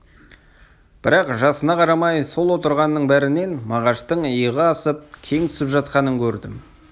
бірақ жасына қарамай сол отырғанның бәрінен мағаштың иығы асып кең түсіп жатқанын көрдім